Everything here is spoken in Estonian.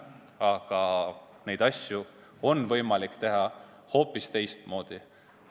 Aga neid asju on võimalik teha hoopis teistmoodi.